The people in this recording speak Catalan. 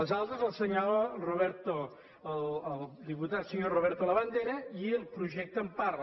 les altres les assenyala el diputat senyor roberto labandera i el projecte en parla